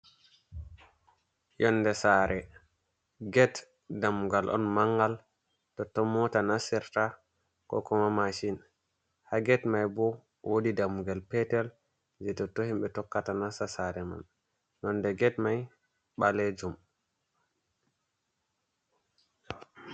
Yonde saare get dammugal on mangal totton moota nasirta ko kuma mashin ha get mai bo woodi dammugal petel je totton himɓe tokkata nasta sare man yonde get mai ɓalejum.